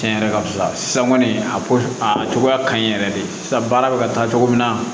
Tiɲɛ yɛrɛ ka fisa san kɔni a ko a cogoya ka ɲi yɛrɛ de sisan baara bɛ ka taa cogo min na